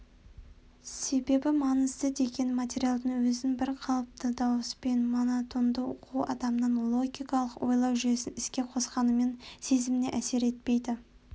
себебі маңызды деген материалдың өзін бірқалыпты дауыспен монотонды оқу адамның логикалық ойлау жүйесін іске қосқанымен сезіміне әсер етпейді